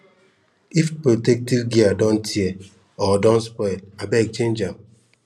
if protective gear don tear or don spoil abeg change am